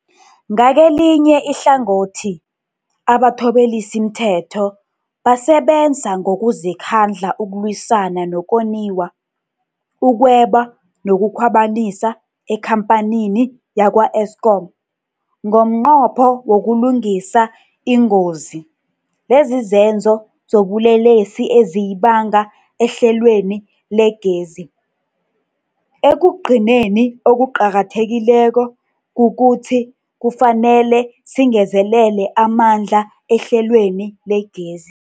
Ngakelinye ihlangothi, abathobelisimthetho basebenza ngokuzikhandla ukulwisana nokoniwa, ukweba nokukhwabanisa ekhamphanini yakwa-Eskom ngomnqopho wokulungisa ingozi lezizenzo zobulelesi eziyibanga ehlelweni legezi. Ekugcineni, okuqakathekileko kukuthi kufanele singezelele amandla ehlelweni legezi.